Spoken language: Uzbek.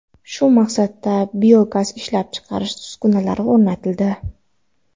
Shu maqsadda biogaz ishlab chiqarish uskunalari o‘rnatildi.